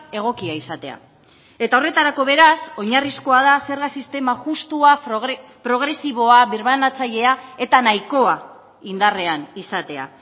egokia izatea eta horretarako beraz oinarrizkoa da zerga sistema justua progresiboa birbanatzailea eta nahikoa indarrean izatea